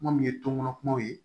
Kuma min ye toŋo kumaw ye